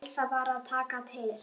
Elsa var að taka til.